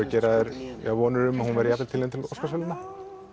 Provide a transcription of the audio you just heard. gera þér vonir um að hún verði jafnvel tilnefnd til Óskarsverðlauna